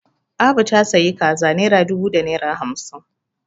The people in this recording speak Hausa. Abu ta sayi kaza naira dubu da naira hamsin